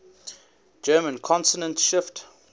german consonant shift